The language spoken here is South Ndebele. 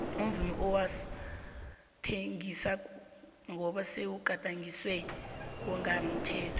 umvumo awusathengisi ngoba sewugadangiswa ngongamthetho